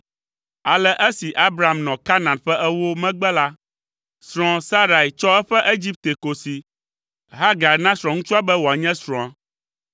Ale esi Abram nɔ Kanaan ƒe ewo megbe la, srɔ̃a, Sarai, tsɔ eƒe Egipte kosi, Hagar na srɔ̃ŋutsua be wòanye srɔ̃a.